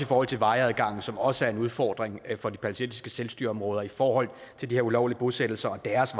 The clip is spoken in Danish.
forhold til vejadgangen som også er en udfordring for de palæstinensiske selvstyreområder i forhold til de her ulovlige bosættelser og deres